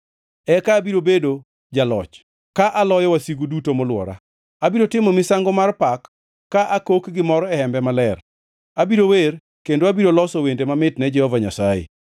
Eka abiro bedo jaloch ka aloyo wasigu duto molwora; abiro timo misango mar pak ka akok gimor e hembe maler. Abiro wer kendo abiro loso wende mamit ne Jehova Nyasaye.